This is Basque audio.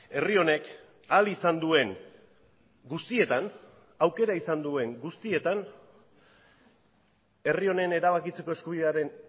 herri honek ahal izan duen guztietan aukera izan duen guztietan herri honen erabakitzeko eskubidearen